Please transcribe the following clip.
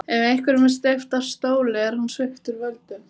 Ef einhverjum er steypt af stóli er hann sviptur völdum.